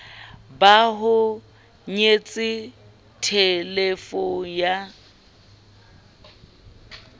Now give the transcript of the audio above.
ba ho kenyetse thelefono ya